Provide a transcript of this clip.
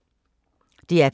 DR P3